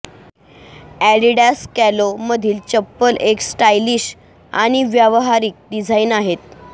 Adidas कॅलो मधील चप्पल एक स्टाइलिश आणि व्यावहारिक डिझाइन आहेत